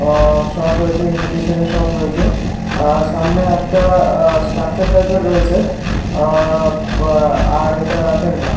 আ-সব রয়েছে ইমিটেশনের সব রয়েছে আ-সামনে একটা আ- স্ট্রাকচার টাইপের রয়েছে আ-এইটা রাতের বেলা।